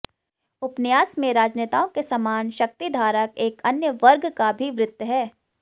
उपन्यास में राजनेताओं के समान शक्तिधारक एक अन्य वर्ग का भी वृत्त है